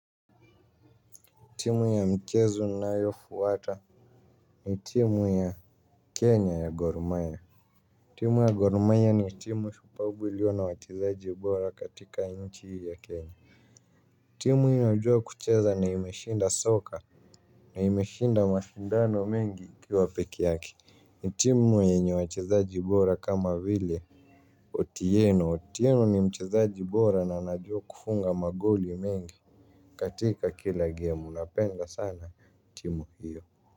Timu ya mchezo ninayafuata ni timu ya kenya ya goromayia. Timu ya gorumaya ni timu shupafu iliona wachezaju bora katika inchi ya kenya. Timu inayojua kucheza na imeshinda soka na imeshinda mashindano mengi kiwa pekee yake. Ni timu yenye wachezaji bora kama vile Otieno otieno ni mchezi bora na anajua kufunga magoli mengi. Katika kila gemu napenda sana timu hiyo.